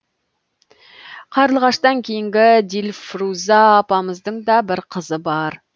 қарлығаштан кейінгі дильфруза апамыздың да бір қызы бар